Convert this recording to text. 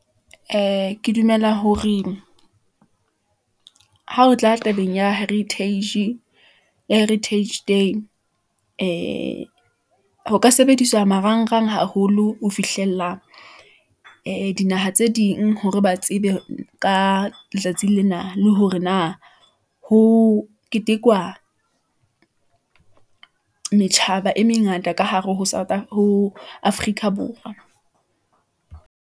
Ee, ke dumela hore ha o tla tabeng ya heritage day , ee ho ka sebediswa marangrang haholo ho fihlella , ee di dinaha tse ding, hore ba tsebe ka letsatsi lena, le hore na ho ketekwa , matjhaba e mengata ka hare ho Afrika Borwa.